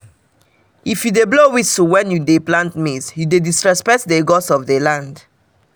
na left um dem dey use dig the first tuber of yam so that more blessings go follow am come.